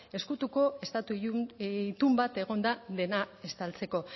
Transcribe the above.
ezkutuko estatu itun bat egon da dena estaltzeko